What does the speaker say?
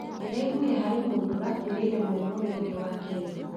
Ndĩraiguire harĩ mũndũ urakuĩrĩire mwena ũrĩa ungĩ wa kĩrĩma